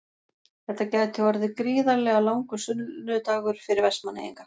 Þetta gæti orðið gríðarlega langur sunnudagur fyrir Vestmannaeyinga.